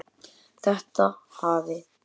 Þetta hafi